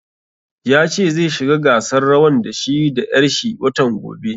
Ya ce zai shiga gasar rawan da shi da ƴar shi watan gobe